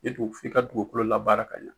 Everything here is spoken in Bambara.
E dun f'i ka dugukolo labaara ka ɲɛ